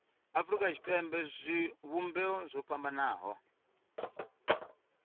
afurika tshipembe zwivhumbeo zwo fhambanaho